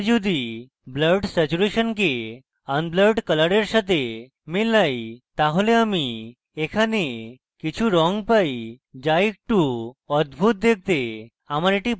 আমি যদি blurred স্যাচুরেশনকে অনব্লারড কলরের সাথে মেলাই তাহলে আমি এখানে কিছু রঙ পাই যা একটু অদ্ভুত দেখতে